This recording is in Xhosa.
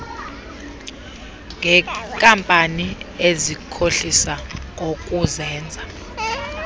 ngeenkampani ezikhohlisa ngokuzenza